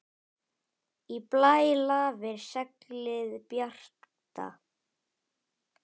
Í blæ lafir seglið bjarta.